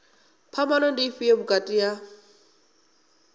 phambano ndi ifhio vhukati ha